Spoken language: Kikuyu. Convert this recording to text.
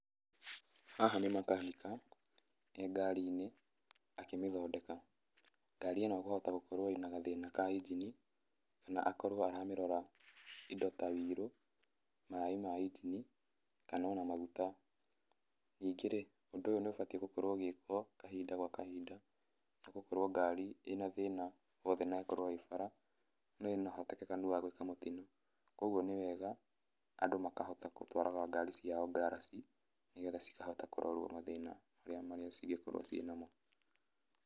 Haha nĩ makanika ,e ngarinĩ akĩmĩthondeka. Ngari ĩno kwahota gũkorwo ĩna gathĩna ka injini, kana akorwo aramĩrora indo ta ũiro, maĩ ma injini, kana ona maguta. Ningĩ-rĩ, ũndũ ũyũ nĩũbatiĩ gũkorwo ũgĩkwo kahinda gwa kahinda, nĩgũkorwo ngari ĩ na thĩna o wothe na ĩkorwo ĩ bara, no ĩna ũhotekekũ wa gũĩka mũtino. Koguo nĩ wega Andũ makahota kũtwaraga ngari ciao ngarachi, nĩgetha cĩkahota kũrorwo mathĩna marĩa cĩngĩkorwo ciĩ namo.